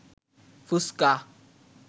ফুসকা